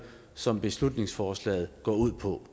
som beslutningsforslaget går ud på